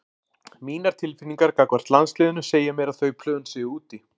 Mínar tilfinningar gagnvart landsliðinu segja mér að þau plön séu úti.